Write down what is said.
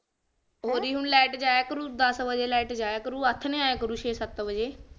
ਹੋਰ ਲਾਈਟ ਜਾਇਆ ਕਰੂੰ ਦਸ ਵਜੇ ਲਾਈਟ ਜਾਇਆ ਕਰੂ ਆਥਣੇ ਆਉ ਛੇ ਸਤ ਵਜੇ